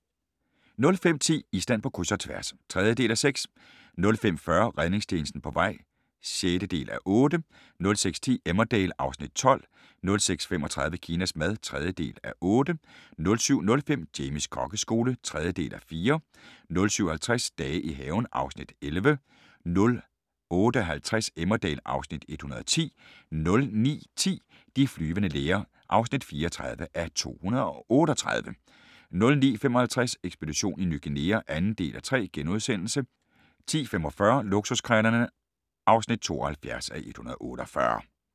05:10: Island på kryds – og tværs (3:6) 05:40: Redningstjenesten på vej (6:8) 06:10: Emmerdale (Afs. 12) 06:35: Kinas mad (3:8) 07:05: Jamies kokkeskole (3:4) 07:50: Dage i haven (Afs. 11) 08:50: Emmerdale (Afs. 110) 09:10: De flyvende læger (34:238) 09:55: Ekspedition Ny Guinea (2:3)* 10:45: Luksuskrejlerne (72:148)